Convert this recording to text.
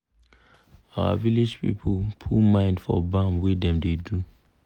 our village people put mind for bam wey dem da do